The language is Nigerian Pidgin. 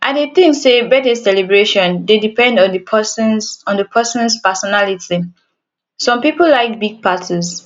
i dey think say birthday celebration dey depend on di persons on di persons personality some people like big parties